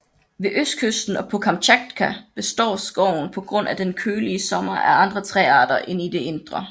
Ved østkysten og på Kamtjatka består skoven på grund af den kølige sommer af andre træarter end i det indre